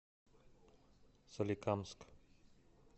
соликамск